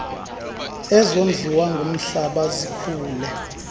ezondliwa ngumhlaba zikhule